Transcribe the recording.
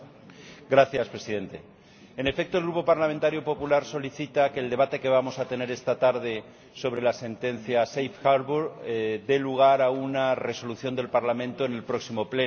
Señor Presidente, en efecto, el Grupo parlamentario popular solicita que el debate que vamos a tener esta tarde sobre la sentencia relativa a la Decisión de puerto seguro, dé lugar a una Resolución del Parlamento en el próximo Pleno.